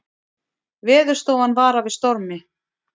Veðurstofan varar við stormi